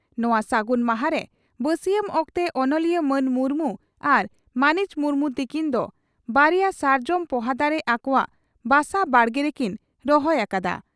ᱱᱚᱣᱟ ᱥᱟᱹᱜᱩᱱ ᱢᱟᱦᱟᱸᱨᱮ ᱵᱟᱹᱥᱤᱭᱟᱢ ᱚᱠᱛᱮ ᱚᱱᱚᱞᱤᱭᱟᱹ ᱢᱟᱱ ᱢᱩᱨᱢᱩ ᱟᱨ ᱢᱟᱹᱱᱤᱡ ᱢᱩᱨᱢᱩ ᱛᱤᱠᱤᱱ ᱫᱚ ᱵᱟᱨᱮᱭᱟ ᱥᱟᱨᱡᱚᱢ ᱯᱚᱦᱟ ᱫᱟᱨᱮ ᱟᱠᱚᱣᱟᱜ ᱵᱟᱥᱟ ᱵᱟᱲᱜᱮ ᱨᱮᱠᱤᱱ ᱨᱚᱦᱚᱭ ᱟᱠᱟᱫᱼᱟ ᱾